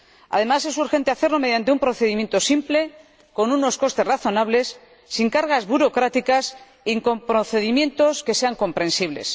Además, es urgente hacerlo mediante un procedimiento simple, con unos costes razonables, sin cargas burocráticas y con procedimientos que sean comprensibles.